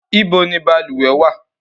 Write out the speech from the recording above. Ibo ni balùwẹ̀ wà?